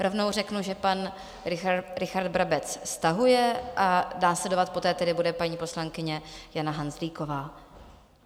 Rovnou řeknu, že pan Richard Brabec stahuje, a následovat poté tedy bude paní poslankyně Jana Hanzlíková.